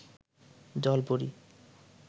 জল পরী